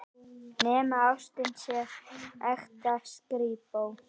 Nema ástin sé ekta skrípó.